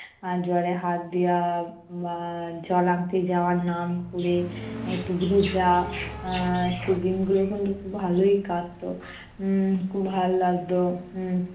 এর জলে হাত দেওয়া বা জল আনতে যাওয়ার নাম ক'রে একটু ভেজা আহ সেই দিন গুলো কিন্তু খুব ভালোই কাটতো। উম খুব ভাল লাগতো উম